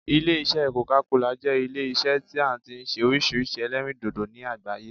Ilé isẹ́ coca cola jẹ́ Ilé isẹ́ tí a ti n se orísirísi ẹlẹ́rìndòdò ní àgbáyé